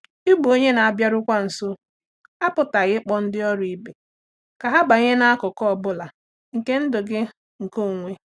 Ịbụ onye na-abịarukwa nso apụtaghị ịkpọ ndị ọrụ ibe ka ha banye n’akụkụ ọ bụla nke ndụ gị nke onwe.